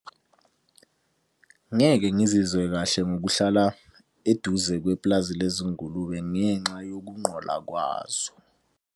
Ngeke ngizizwe kahle ngokuhlala eduze kwepulazi lezingulube ngenxa yokunqola kwazo.